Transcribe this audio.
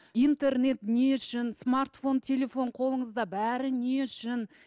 интернет не үшін стартфон телефон қолыңызда бәрі не үшін